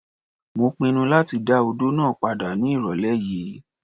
Mo pinnu láti dá odó náà padà ní ìrọ̀lẹ́ yìí.